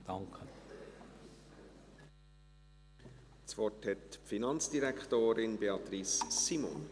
Das Wort hat die Finanzdirektorin: Beatrice Simon.